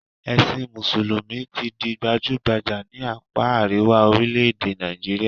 Ẹ̀sìn mùsùlùmí ti di gbajúgbajà ní àpá àríwá orílẹ̀-èdè Nàìjíríà